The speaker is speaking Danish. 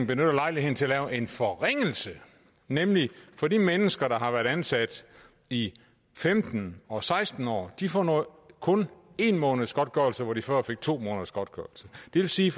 benytter lejligheden til at lave en forringelse nemlig for de mennesker der har været ansat i femten og seksten år de får kun en måneds godtgørelse hvor de før fik to måneders godtgørelse det vil sige